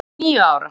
Þær voru níu ára.